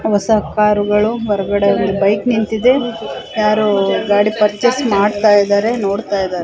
ಹೊಸ ಕಾರು ಗಳು ಹೊರಗಡೆ ಬೈಕ್ ನಿಂತಿದೆ ಯಾರು ಗಾಡಿ ಪಾರ್ಚಸ್ ಮಾಡ್ತಾ ಇದ್ದಾರೆ ನೋಡ್ತಾ ಇದ್ದಾರೆ.